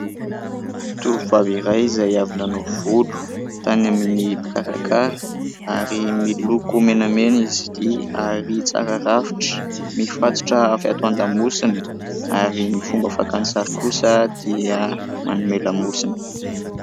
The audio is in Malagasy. Tovovavy iray izay avy nanao volo tany amin'ny mpikarakara ary miloko menamena izy ity ary tsara rafitra mifatotra avy ato an-damosiny ary ny fomba fakany sary kosa dia manome lamosina.